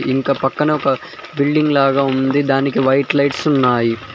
ఇంక పక్కన ఒక బిల్డింగ్ లాగా ఉంది దానికి వైట్ లైట్స్ ఉన్నాయి.